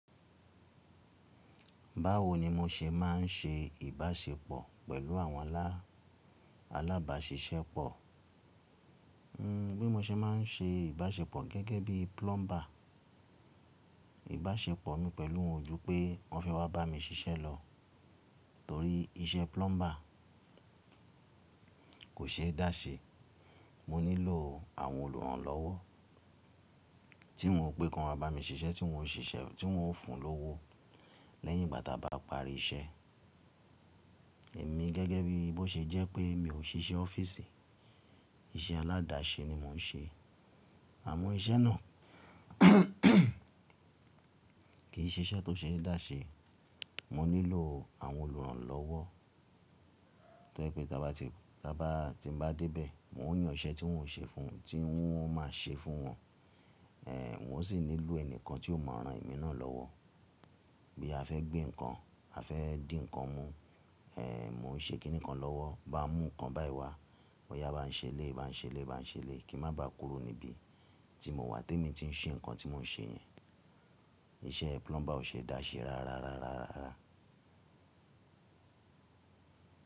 Báwo ni mo se máa ń ṣe ìbáṣepọ̀ pẹ̀lú àwọn alábàáṣiṣẹ́pọ̀? Bí mo se máa ń ṣe ìbáṣepọ̀ gẹ́gẹ́ bí plumber. Ìbáṣepọ̀ mi pẹ̀lú wọn ju pé wọ́n fẹ́ wá bá mi ṣiṣẹ́ lọ, torí iṣẹ́ plumber kò ṣe é dá se Mo nílò àwọn olùrànlọ́wọ́ tí n ó pé kan wa bá mi ṣiṣẹ́, tí n ó fún un lówó lẹ́yìn ìgbà táa bá parí iṣẹ́. Èmi gẹ́gẹ́ bí bó ṣe jẹ́ pé mi ò ṣiṣẹ́ ọ́fíìsì, iṣẹ́ aládàáṣẹ ni mò ń ṣe. Àmọ́ iṣẹ́ náà kì í ṣe iṣẹ́ tó ṣe é dáṣẹ. Mo nílò àwọn olùrànlọ́wọ́ tó jẹ pé ti n bá dé bẹ́ẹ̀, n o yàn iṣẹ́ tí wọ́n ò ṣe fún mi, tí n máa ṣe fún wọn. Èéh, mo sì nílò ẹnikan tí ó mọ̀ ran emí náà lọ́wọ́. Bí a fẹ́ gbé nǹkan, a fẹ́ dín ǹkan mú. Èèh, mò ń ṣe kíni kan lọ́wọ́. Bá n mú ǹkan báyi wá, o yá bá ń ṣe léyi, bá ń ṣe léyi, bá ń ṣe léyi kí n má bá kúrò níbi tí mo wà tí mo ti ń ṣe nǹkan tí mò ń ṣe yẹn. Iṣẹ́ plumber ò ṣe é dáṣẹ rárá, rárá, rárá.